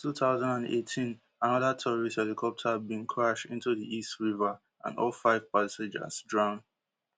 for two thousand and eighteen anoda tourist helicopter bin crash into di east river and all five passengers drown